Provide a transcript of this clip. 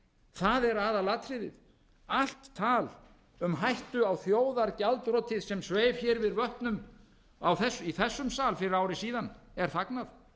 það er aðalatriðið allt tal um hættu á þjóðargjaldþroti sem sveif hér yfir vötnum í þessum sal fyrir ári síðan er fagnað